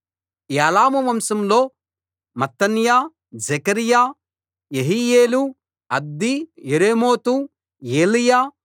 ఏలాము వంశంలో మత్తన్యా జెకర్యా యెహీయేలు అబ్దీ యెరేమోతు ఏలీయా